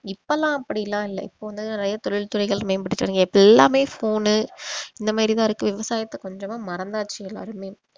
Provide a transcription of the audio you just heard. இப்பல்லாம் அப்படிலாம் இல்ல இப்ப வந்து நிறைய தொழில் துறைகள் மேம்பட்டு இப்ப எல்லாமே phone உ இந்த மாதிரி தான் இருக்கு விவசாயத்தை கொஞ்சமா மறந்தாச்சு எல்லாருமே